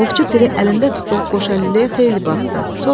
Ovçu Piri əlində tutduğu qoşalüləyə xeyli baxdı.